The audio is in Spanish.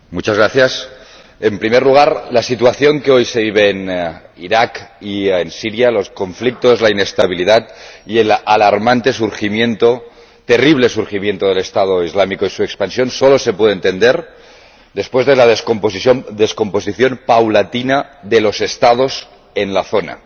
Señora Presidenta, en primer lugar, la situación que hoy se vive en Irak y en Siria —los conflictos, la inestabilidad y el alarmante y terrible surgimiento del Estado Islámico y su expansión— solo se puede entender después de la descomposición paulatina de los Estados en la zona,